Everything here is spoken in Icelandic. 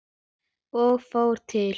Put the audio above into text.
Ég fór til